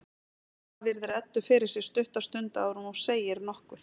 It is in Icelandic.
Mamma virðir Eddu fyrir sér stutta stund áður en hún segir nokkuð.